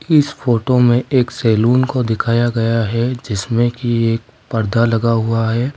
इस फोटो में एक सैलून को दिखाया गया है जिसमें की एक पर्दा लगा हुआ है।